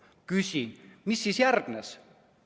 Küsin: mis siis järgnes?